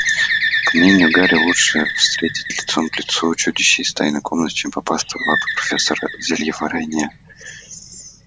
а по мнению гарри лучше встретить лицом к лицу чудище из тайной комнаты чем попасться в лапы профессора зельеварения